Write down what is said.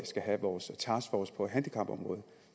skal have vores taskforce på handicapområdet